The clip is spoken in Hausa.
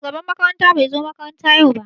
Shugaban makaranta bai zo makaranta yau ba.